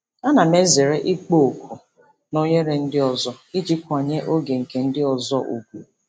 Ana m ezere ịkpọ oku na oghere ndị ọzọ iji kwanyere oge nke ndị ọzọ ùgwù.